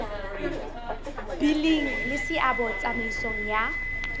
bileng le seabo tsamaisong ya